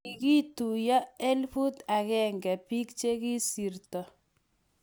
kikuityi elfut agenge biik chekisirto